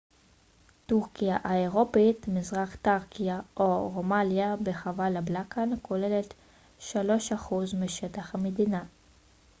טורקיה האירופית מזרח תראקיה או רומליה בחבל הבלקן כוללת 3% משטח המדינה